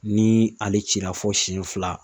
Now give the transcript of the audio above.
Ni ale cira fo siɲɛ fila